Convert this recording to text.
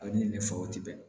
A bɛ ni ne faw tɛ bɛn